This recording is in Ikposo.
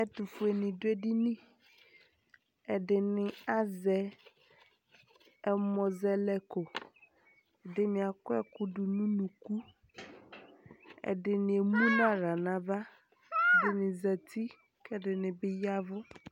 Ɛtʋfuenɩ dʋ edini Ɛdɩnɩ azɛ ɛmʋzɛlɛko Ɛdɩnɩ akɔ ɛkʋ dʋ nʋ unuku Ɛdɩnɩ emu nʋ aɣla nʋ ava Ɛdɩnɩ zati kʋ ɛdɩnɩ bɩ ya ɛvʋ